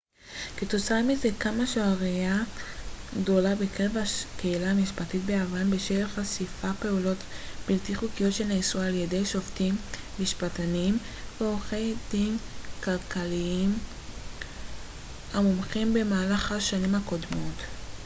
כתוצאה מזה קמה שערורייה גדולה בקרב הקהילה המשפטית ביוון בשל חשיפת פעולות בלתי חוקיות שנעשו על ידי שופטים משפטנים ועורכי דין כלליים ומומחים במהלך השנים הקודמות